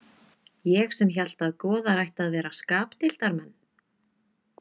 Ég sem hélt að goðar ættu að vera skapdeildarmenn.